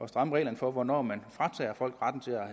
stramme reglerne for hvornår man fratager folk retten til at